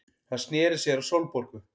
Hann sneri sér að Sólborgu.